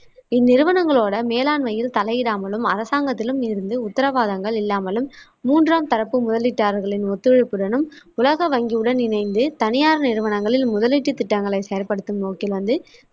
இந்நிறுவனங்களோட மேலாண்மையில் தலையிடாமலும், அரசாங்கத்திலும் இருந்து உத்தரவாதங்கள் இல்லாமலும், மூன்றாம் தரப்பு முதலீட்டாளர்களின் ஒத்துழைப்புடனும், உலக வங்கியுடன் இணைந்து தனியார் நிறுவனங்களில் முதலீட்டுத் திட்டங்களைச் செயற்படுத்தும் நோக்கில் வந்து